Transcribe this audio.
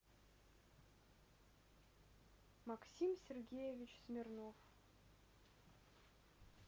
максим сергеевич смирнов